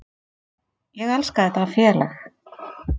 Ég elska þetta félag.